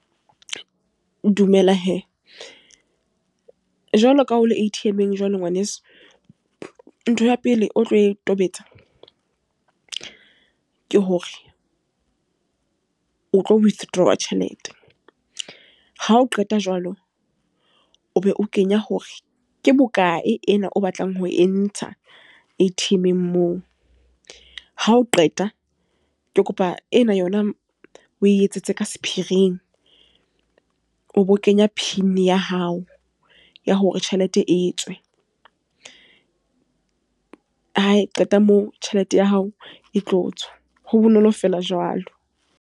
Dumela he! Jwalo ka ha le A_T_M-eng, jwalo ngwaneso. Ntho ya pele o tlo e tobetsa, ke hore o tlo withdraw tjhelete. Ha o qeta jwalo, o be o kenya hore ke bokae ena o batlang ho e ntsha A_T_M-eng moo. Ha o qeta, ke kopa ena yona o e etsetse ka sephiring. O bo kenya pin ya hao, ya hore tjhelete e tswe. Ha e qeta moo, tjhelete ya hao e tlo tswa. Ho bonolo feela jwalo.